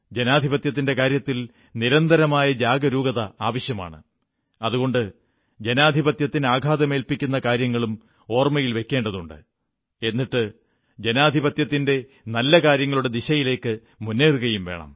ജനാധിപത്യത്തിന്റെ കാര്യത്തിൽ നിരന്തരമായ ജാഗരൂകത ആവശ്യമാണ് അതുകൊണ്ട് ജനാധിപത്യത്തിന് ആഘാതമേല്ക്കുന്ന കാര്യങ്ങളും ഓർമ്മയിൽ വയ്ക്കേണ്ടതുണ്ട് എന്നിട്ട് ജനാധിപത്യത്തിന്റെ നല്ല കാര്യങ്ങളുടെ ദിശയിലേക്ക് മുന്നേറുകയും വേണം